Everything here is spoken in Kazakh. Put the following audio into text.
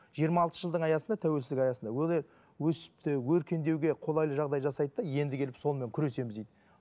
жиырма алты жылдың аясында тәуелсіздік аясында олай өсіп те өркендеуге қолайлы жағдай жасайды да енді келіп сонымен күресеміз дейді